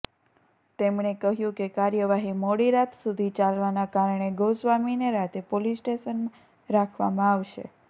તેમણે કહ્યું કે કાર્યવાહી મોડી રાત સુધી ચાલવાના કારણે ગોસ્વામીને રાતે પોલીસ સ્ટેશનમાં રાખવામાં આવશે